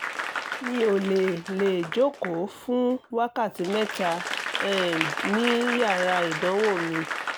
mi ò lè lè jókòó fún wákàtí mẹ́ta um ní yàrá ìdánwò mi